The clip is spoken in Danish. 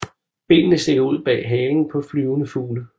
Benene stikker ud bag halen på flyvende fugle